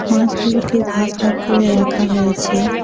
মাছগুলোকে ভাগ ভাগ করে রাখা হয়েছে।